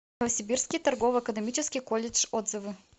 новосибирский торгово экономический колледж отзывы